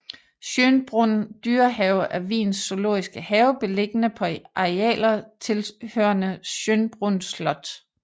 Schönbrunn dyrehave er Wiens zoologiske have beliggende på arealer tilhørende Schönbrunn slot